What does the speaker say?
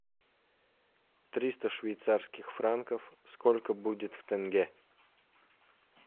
триста швейцарских франков сколько будет в тенге